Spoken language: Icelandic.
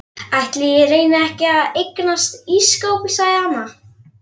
Ætli ég reyni ekki að eignast ísskáp sagði amma.